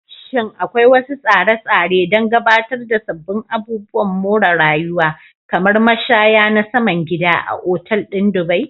Shin akwai wasu tsare-tsare don gabatar da sabbin abubuwan more rayuwa, kamar mashaya na saman gida, a Otal ɗin Dubai?